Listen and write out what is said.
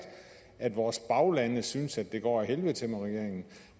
at vores baglande synes det går ad helvede til med regeringen